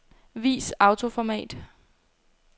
Vis autoformat.